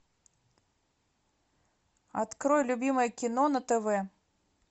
открой любимое кино на тв